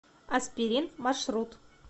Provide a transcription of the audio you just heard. аспирин маршрут